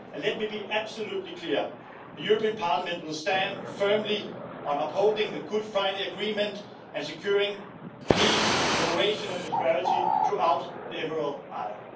Let me be absolutely clear the European Parliament will stand firm on upholding the Good Friday Agreement and securing peace, cooperation and prosperity throughout the Emerald Isle.